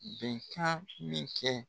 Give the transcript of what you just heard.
Bɛnkan min kɛ